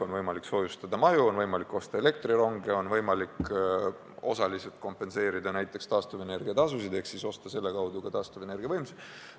On võimalik soojustada maju, on võimalik osta elektrironge, on võimalik osaliselt kompenseerida näiteks taastuvenergiatasusid ehk siis osta selle kaudu ka taastuvenergia võimsust.